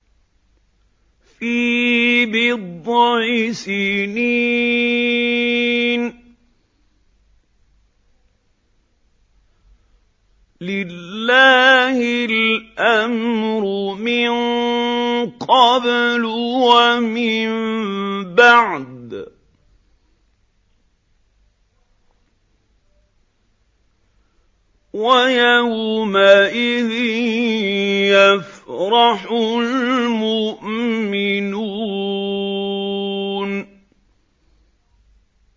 فِي بِضْعِ سِنِينَ ۗ لِلَّهِ الْأَمْرُ مِن قَبْلُ وَمِن بَعْدُ ۚ وَيَوْمَئِذٍ يَفْرَحُ الْمُؤْمِنُونَ